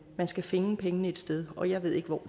skal finde pengene et sted og jeg ved ikke hvor